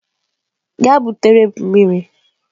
Gaa butere m mmiri!